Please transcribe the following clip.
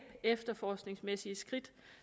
efterforskningsmæssige skridt